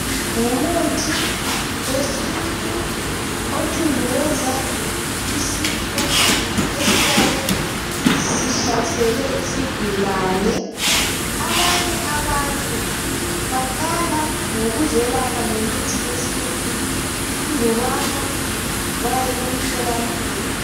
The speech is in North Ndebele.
Ngumuthi wesintu othundubeza isifo esiyabe sihlasele isigulane, abanye abantu baqala ngokuzelapha ngemithi yesintu andubana baye emtholampilo.